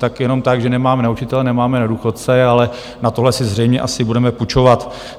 Tak jenom tak, že nemáme na učitele, nemáme na důchodce, ale na tohle si zřejmě asi budeme půjčovat.